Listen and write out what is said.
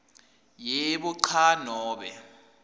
yebo cha nobe